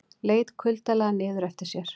Leit kuldalega niður eftir sér.